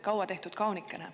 Kaua tehtud kaunikene.